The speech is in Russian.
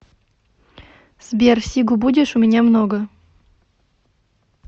сбер сигу будешь у меня много